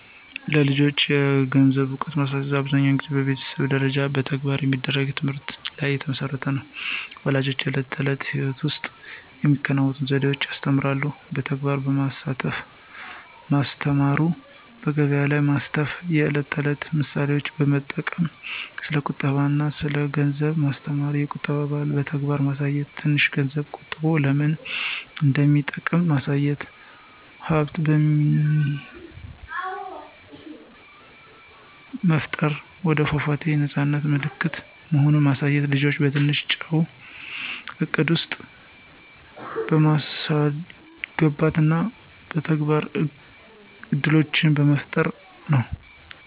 ለልጆች የገንዘብ እውቀት ማስተማር አብዛኛውን ጊዜ በቤተሰብ ደረጃ እና በተግባር በሚደረግ ትምህርት ላይ የተመሠረተ ነው። ፣ ወላጆች በዕለት ተዕለት ሕይወት ውስጥ በሚከተሉት ዘዴዎች ያስተምራሉ። በተግባር በማሳተፍ ማስተማሩ፣ በገቢያ ላይ ማስተፍ፣ የዕለት ተዕለት ምሳሌዎች በመጠቅም ስለ ቁጠባ አና ስለ ገንዘብ ማስተማሩ፣ የቁጠባ ባህልን በተግባር ማሳየት፣ ትንሽ ገንዝብ ቆጠቦ ለምን እንደሚጠቅም ማሳየት፣ ሀብት መፍጠር የወደፏት የነፃነት ምልክት መሆኑን ማሳየት፣ ልጆችን በትንሽ ወጪ እቅድ ውስጥ በማስገባት እና የተግባር እድሎችን በመፍጠር ነው።